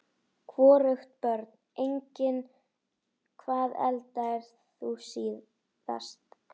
Hvorugt Börn: Engin Hvað eldaðir þú síðast?